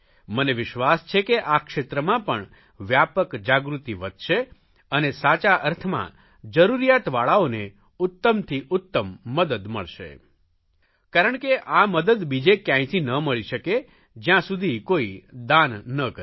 મને વિશ્વાસ છે કે આ ક્ષેત્રમાં પણ વ્યાપક જાગૃતિ વધશે અને સાચા અર્થમાં જરૂરિયાતવાળાઓને ઉત્તમથી ઉત્તમ મદદ મળશે કારણ કે આ મદદ બીજે કયાંયથી ન મળી શકે જયાં સુધી કોઇ દાન ન કરે